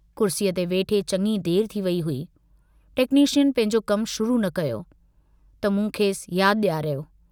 कुर्सीअ ते वेठे चङी देर थी वेई हुई, टेक्नीशियन पंहिंजो कमु शुरू न कयो, त मूं खेसि याद डियारियो।